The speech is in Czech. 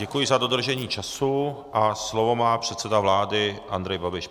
Děkuji za dodržení času a slovo má předseda vlády Andrej Babiš.